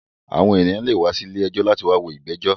Àwọn ènìyàn lè wá sí ilé ẹjọ́ láti wá wo ìgbẹ́jọ̀